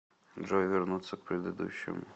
джой вернуться к предыдущему